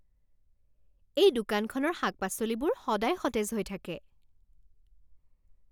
এই দোকানখনৰ শাক পাচলিবোৰ সদায় সতেজ হৈ থাকে!